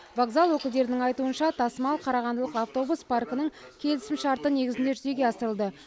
вокзал өкілдерінің айтуынша тасымал қарағандылық автобус паркінің келісімшарты негізінде жүзеге асырылды